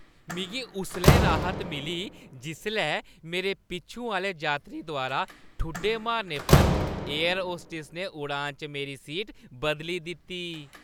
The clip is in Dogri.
मिगी उसलै राह्त मिली जिसलै मेरे पिच्छूं आह्‌ले यात्री द्वारा ठुड्डे मारने पर एयर होस्टस ने उड़ान च मेरी सीट बदली दित्ती।